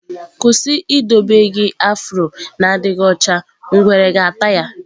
Kwụsị idobe gị afro na-adịghị ọcha, ngwere ga-ata ya!